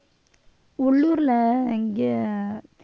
உள்ளூர்ல இங்க